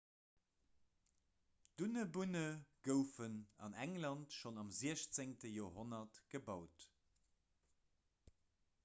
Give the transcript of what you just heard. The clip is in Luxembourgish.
dunnebunne goufen an england schonn am 16 joerhonnert gebaut